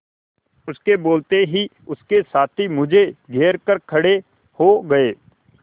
उसके बोलते ही उसके साथी मुझे घेर कर खड़े हो गए